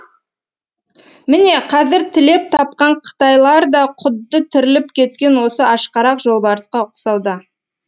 міне қазір тілеп тапқан қытайлар да құдды тіріліп кеткен осы ашқарақ жолбарысқа ұқсауда